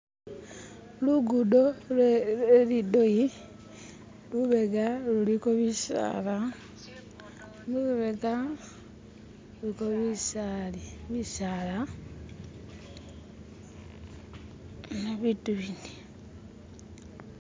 lugudo lwelidoyi lubega luliko bisaala lubega ni bitu bindi